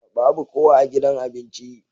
Babu kowa a gidan abinci.